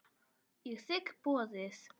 Ég þigg boðið.